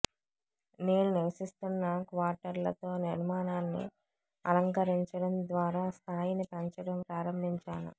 నేను నివసిస్తున్న క్వార్టర్లతో నిర్మాణాన్ని అలంకరించడం ద్వారా స్థాయిని పెంచడం ప్రారంభించాను